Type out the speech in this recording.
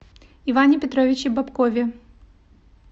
иване петровиче бобкове